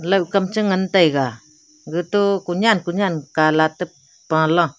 laokkam cha ngan taiga gato kunyan kunyan kalak pala.